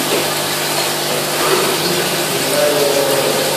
открой кинчик михайло ломоносов